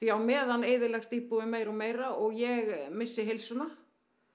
á meðan eyðileggst íbúðin meira og meira og ég missi heilsuna